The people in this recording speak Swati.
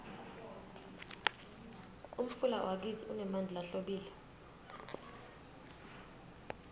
umfula wakitsi unemanti lahlobile